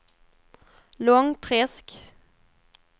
Långträsk